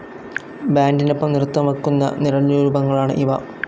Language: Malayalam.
ബാൻഡിനൊപ്പം നൃത്തം വയ്ക്കുന്ന നിഴൽരൂപങ്ങളാണ് ഇവ.